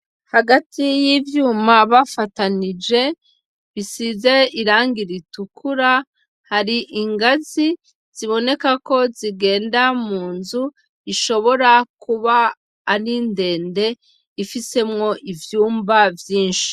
Hagati y'ivyuma bafatanije bisize irangi ritukura, hari ingazi zibonekako zigenda mu nzu ishobora kuba ari ndende, ifisemwo ivyumba vyinshi.